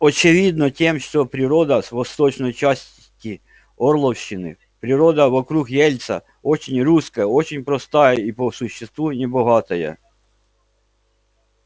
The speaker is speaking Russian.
очевидно тем что природа с восточной части орловщины природа вокруг ельца очень русская очень простая и по существу небогатая